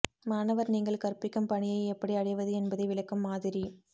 மாணவர் நீங்கள் கற்பிக்கும் பணியை எப்படி அடைவது என்பதை விளக்கும் மாதிரி